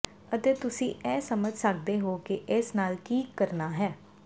ਅਤੇ ਤੁਸੀਂ ਇਹ ਸਮਝ ਸਕਦੇ ਹੋ ਕਿ ਇਸ ਨਾਲ ਕੀ ਕਰਨਾ ਹੈ